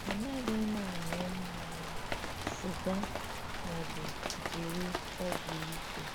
Anaghị m aṅụ mmanya, sịga, ma ọ bụ jiri ọgwụ ike.